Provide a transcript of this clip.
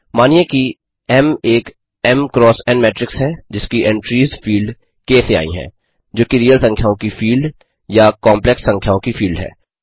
मानिए कि एम एक एम एन मेट्रिक्स है जिसकी एंट्रीज़ फील्ड क से आई हैं जोकि रीअल संख्याओं की फील्ड या कॉप्लेक्स संख्याओं की फील्ड है